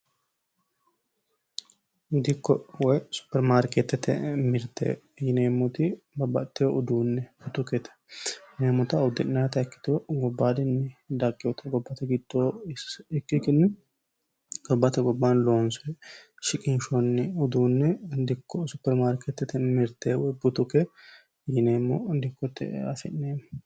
dikko woy supermaarkeettete mirte yineemmoti babbaxitewo uduunne butukete yineemmota uddi'nata ikkito gobbaadinni dagewota gobbate giddoo ikkikinni gobbate gobbaan loonse shiqinshonni uduunne dikko supermaarkeettete mirtewe butuke yineemmo dikkotte afi'neemmo